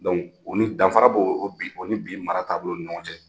o ni danfara b'o ni bi danra b'o ni bi mara taabolo ni ɲɔgɔn cɛ.